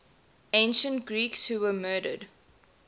ancient greeks who were murdered